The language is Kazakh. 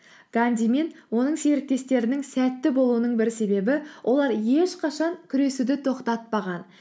ганди мен оның серіктестерінің сәтті болуының бір себебі олар ешқашан күресуді тоқтатпаған